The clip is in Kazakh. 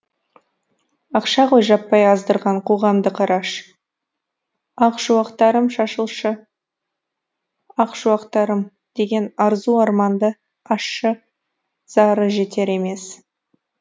ақша ғой жаппай аздырған қоғамды қораш ақ шуақтарым шашылшы ақ шуақтарым деген арзу арманды ащы зары жетер емес